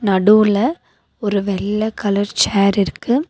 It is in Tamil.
நடுவுல ஒரு வெள்ள கலர் சேர் இருக்கு.